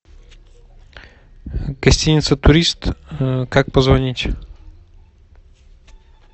гостиница турист как позвонить